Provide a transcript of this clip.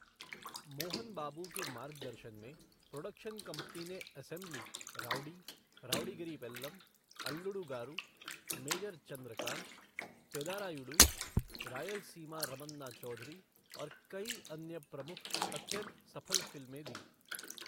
मोहन बाबू के मार्गदर्शन में, प्रोडक्शन कंपनी ने Assembly Rowdy, Rowdy Gari Pellam, Alludu Garu, Major Chandrakanth, Pedarayudu, Rayalaseema Ramanna Chowdary और कई अन्य प्रमुख अत्यंत सफल फिल्में दीं।